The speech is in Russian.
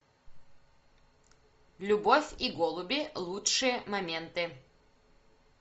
любовь и голуби лучшие моменты